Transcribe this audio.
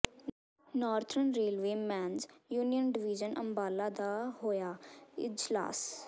northern railway men's union division Ambala ਦਾ ਹੋਇਆ ਇਜਲਾਸ